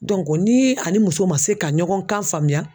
ni a ni muso ma se ka ɲɔgɔn kan faamuya.